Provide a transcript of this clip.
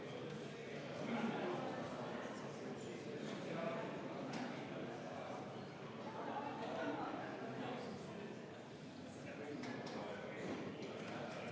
Enne, kõneldes peaministrist, kes valetas, ma pidasin silmas Kaja Kallast.